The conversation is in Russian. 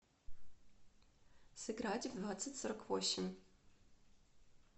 сыграть в двадцать сорок восемь